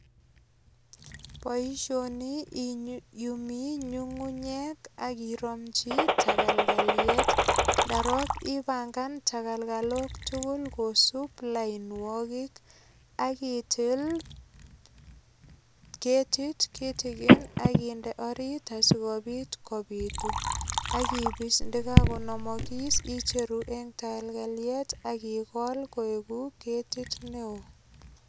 Boisioni iyumi nyungunyek ak iromchi tagalgaliet, ndarok ipangan tagalgalot tugul kosup lainwogik akitil ketit kitigin aginde orit asigopit kopitu ak ipis ndagagonamagis icheru eng tagalgaliet akigol koek ketit neo.